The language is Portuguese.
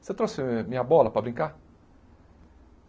Você trouxe minha bola para brincar?